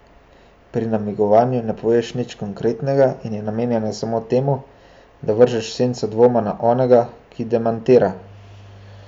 Pri namigovanju ne poveš nič konkretnega in je namenjeno samo temu, da vržeš senco dvoma na onega, ki demantira.